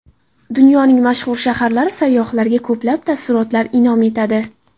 Dunyoning mashhur shaharlari sayyohlarga ko‘plab taassurotlar in’om etadi.